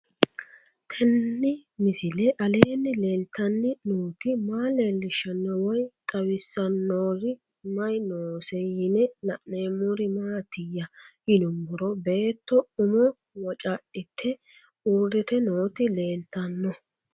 Tenni misile aleenni leelittanni nootti maa leelishshanno woy xawisannori may noosse yinne la'neemmori maattiya yinummoro beetto ummo wocadhitte uuritte nootti leelittanno